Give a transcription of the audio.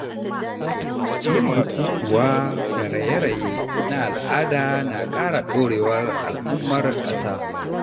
Yin bukukuwa da raye-raye na al’ada na ƙara ɗorewar al’ummar ƙasa.